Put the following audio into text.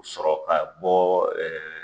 Sɔrɔ ka bɔ